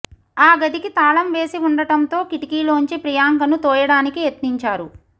ఆ గదికి తాళం వేసి ఉండటంతో కిటికీలోంచి ప్రియాంకను తోయడానికి యత్నించారు